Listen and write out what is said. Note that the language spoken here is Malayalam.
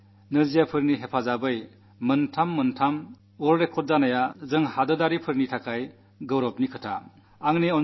ഒറ്റ ദിവസം കൊണ്ട് ദിവ്യാംഗരായവർ മൂന്നു ലോകറിക്കാഡ് സ്ഥാപിക്കുന്നത് നമ്മെ സംബന്ധിച്ചിടത്തോളം അഭിമാനകരമായ കാര്യമാണ്